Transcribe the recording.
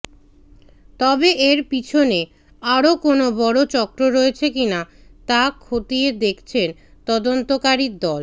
তবে এর পিছনে আরও কোনও বড় চক্র রয়েছে কিনা তা খতিয়ে দেখছেন তদন্তকারীর দল